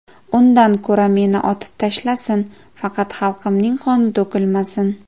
Undan ko‘ra meni otib tashlasin, faqat xalqimning qoni to‘kilmasin.